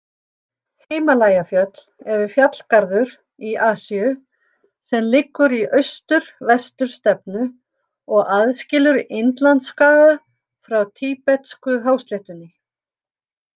Himalajafjöll eru fjallgarður í Asíu sem liggur í austur-vestur stefnu og aðskilur Indlandsskaga frá tíbetsku-hásléttunni.